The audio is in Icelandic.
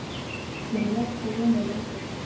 Ég réð ekki við mig lengur.